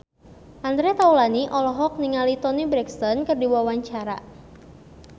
Andre Taulany olohok ningali Toni Brexton keur diwawancara